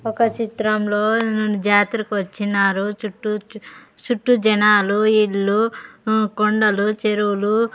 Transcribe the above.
ఒక చిత్రంలోని జాతరకు వచ్చినారు చుట్టూ చుట్టూ జనాలు ఇల్లు కొండలు చెరువులు.